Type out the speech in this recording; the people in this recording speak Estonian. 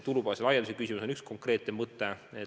Tulubaasi laiendamine on üks konkreetne mõte.